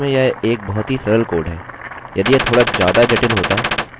अब इसको देख कर कह सकते हैं कि यहाँ लाइन 9 में कुछ भी ग़लत नहीं है